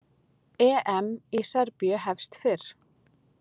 EM í Serbíu hefst fyrr